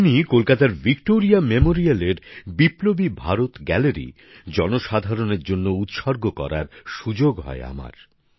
ওই দিনই কলকাতার ভিক্টোরিয়া মেমোরিয়ালের বিপ্লবী ভারত গ্যালারি জনসাধারণের জন্য উৎসর্গ করার সুযোগ হয় আমার